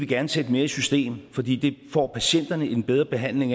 gerne sætte mere i system fordi det får patienterne en bedre behandling